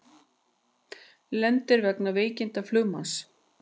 Lendir vegna veikinda flugmanns